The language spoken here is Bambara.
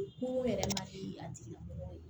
Ko yɛrɛ ma deli a tigi la